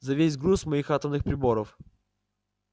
за весь груз моих атомных приборов